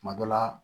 Tuma dɔ la